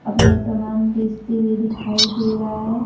अपना सामान बेचते हुए दिखाई दे रहा है।